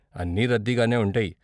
అన్నీ రద్దీగానే ఉంటాయి.